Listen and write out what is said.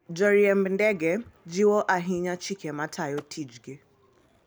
Joriemb ndege jiwo ahinya chike matayo tijgi.